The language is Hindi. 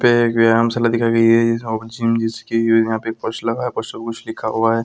यहाँ पर पक्ष लगा है | पक्ष मे कुछ लिखा हुआ है ।